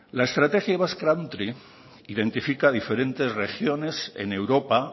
la estrategia basque country identifica diferentes regiones en europa